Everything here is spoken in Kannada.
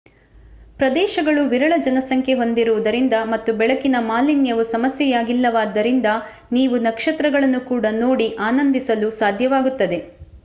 ಪ್ರದೇಶಗಳು ವಿರಳ ಜನಸಂಖ್ಯೆ ಹೊಂದಿರುವುದರಿಂದ ಮತ್ತು ಬೆಳಕಿನ ಮಾಲಿನ್ಯವು ಸಮಸ್ಯೆಯಾಗಿಲ್ಲವಾದ್ದರಿಂದ ನೀವು ನಕ್ಷತ್ರಗಳನ್ನು ಕೂಡ ನೋಡಿ ಆನಂದಿಸಲು ಸಾಧ್ಯವಾಗುತ್ತದೆ